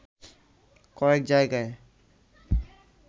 কয়েক জায়গায়